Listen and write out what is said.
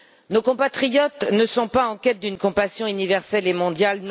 Nos compatriotes ne sont pas en quête d'une compassion universelle et mondiale.